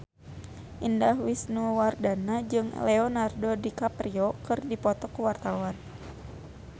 Indah Wisnuwardana jeung Leonardo DiCaprio keur dipoto ku wartawan